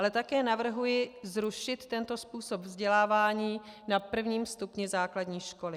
Ale také navrhuji zrušit tento způsob vzdělávání na prvním stupni základní školy.